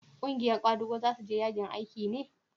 ƙungiyar kwadago za su je yajin aiki ne?